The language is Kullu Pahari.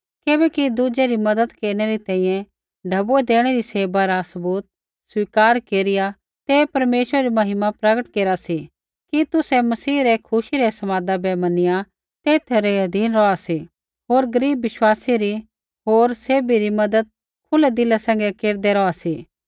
किबैकि दुज़ै री मज़त केरनै री तैंईंयैं ढैबुऐ देणै री सेवा रा सबूत स्वीकार केरिया ते परमेश्वरै री महिमा प्रगट केरा सी कि तुसै मसीह रै खुशी रै समादा बै मनिया तेथा रै अधीन रौहा सी होर गरीब विश्वासी री होर सैभी री मज़त खुलै दिला सैंघै केरदै रौहा सी